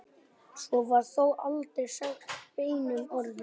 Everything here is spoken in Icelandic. Svo var þó aldrei sagt beinum orðum.